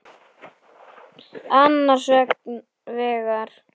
Annars vegar